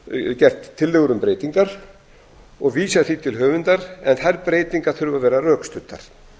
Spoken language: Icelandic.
gert tillögur um breytingar og vísað því til höfundar en þær breytingar þurfa að vera rökstuddar